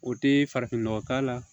O tɛ farafin nɔgɔ k'a la